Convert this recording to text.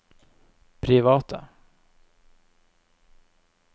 private